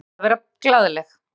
Gerður reyndi að vera glaðleg.